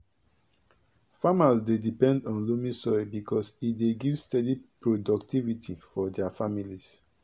farmers dey depend on loamy soil because e dey give steady productivity for dia families.